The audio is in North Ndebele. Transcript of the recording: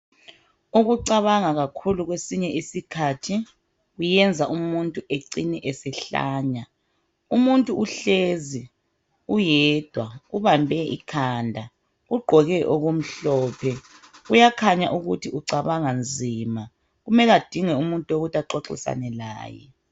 Ukucabanga kakhulu kwesinye isikhathi, kuyenza umuntu ecine esehlanya. Umuntu uhlezi, uyedwa. Ubambe ikhanda. Ugqoke okumhlophe. Uyakhanya ukuthi, ucabanga nzima. Kumele adinge umuntu, wokuthi axoxisane laye.